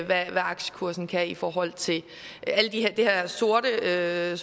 hvad aktiekursen kan i forhold til det her sorte billede